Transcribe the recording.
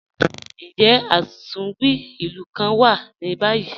Njẹ́ atunwí ilù kàn wà ní báyì?